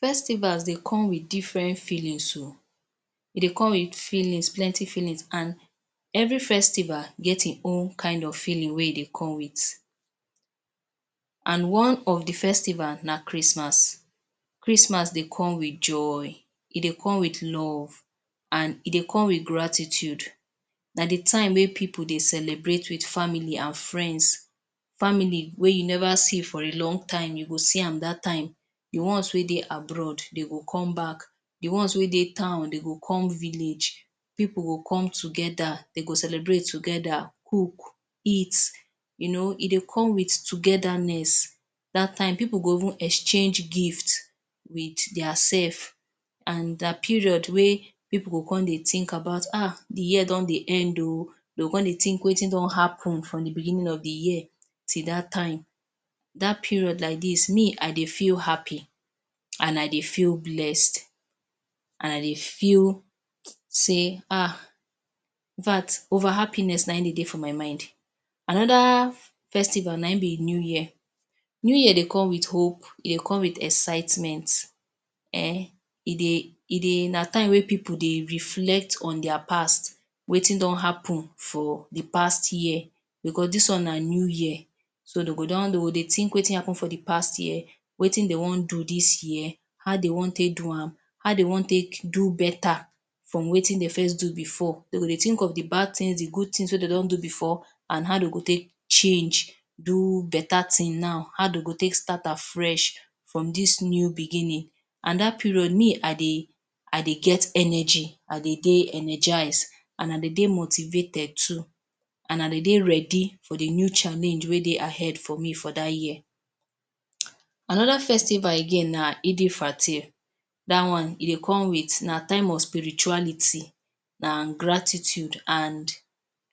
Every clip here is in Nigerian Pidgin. Festivals dey come with different feelings oh. E dey come with feelings, plenty feelings, an every festival get ein own kain of feeling wey e dey come with, an one of the festival na Christmas. Christmas dey come with joy, e dey come with love, an e dey come with gratitude. Na the time wey pipu dey celebrate with family an friends. Family wey you neva see for a long time, you go see am dat time. The ones wey dey abroad, de go come back. The ones wey dey town, de go come village. Pipu go come together, dey go celebrate together, cook, eat. You know, e dey come with togetherness. Dat time, pipu go even exchange gift with diasef. An the period wey pipu go con dey think about ah the year don dey end oh. De go con dey think wetin don happen from the beginning of the year till dat time. Dat period like dis, me I dey feel happy, an I dey feel blessed, an I dey feel sey ah in fact, over-happiness na ein de dey for my mind. Another festival, na ein be New Year. New Year dey come with hope, e dey come with excitement. Ehn e dey e dey na time wey pipu dey reflect on dia past – wetin don happen for the past year becos dis one na new year. So, de go don de go dey think wetin happen for the past year, wetin de wan do dis year, how de wan take do am, how de wan take do beta from wetin de first do before. De go dey think of the bad tins, the good tins wey de don do before, an how de go take change do beta tin now, how de go take start afresh from dis new beginning. An dat period, me I dey I dey get energy, I dey dey energise an I dey dey motivated too, an I dey dey ready for the new challenge wey dey ahead for me for dat year. Another festival again na Eid Fatr. Dat one, e dey come with na time of spirituality, na gratitude an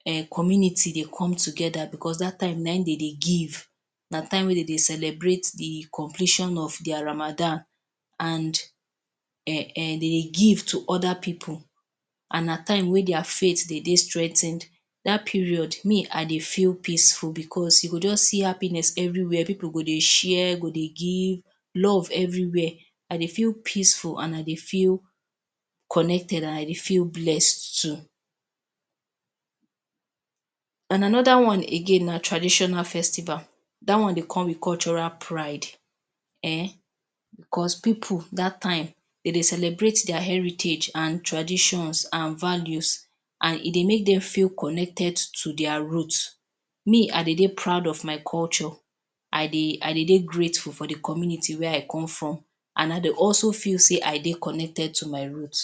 um community dey come together becos dat time na ein de dey give. Na time wey de dey celebrate the completion of dia Ramadan, an um de dey give to other pipu, an na time wey dia faith dey dey strengthened. Dat period, me I dey feel peaceful becos you go juz see happiness everywhere. Pipu go dey share, go dey give. Love everywhere. I dey feel peaceful an I dey feel connected, an I dey feel blessed too. An another again na traditional festival. Dat one dey come with cultural pride. Ehn. Becos pipu dat time, de dey celebrate dia heritage an traditions an values, an e dey make dem feel connected to dia root. Me, I dey dey proud of my culture. I dey I dey dey grateful for the community wey I come from, an I dey also feel sey I dey connected to my root.